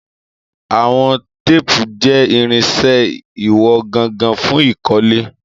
Àwọn téèpù jẹ́ irinṣẹ́ ìwọ̀n gangan fún ìkọ́lé.